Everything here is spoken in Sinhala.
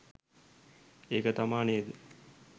ඒක තමා නේද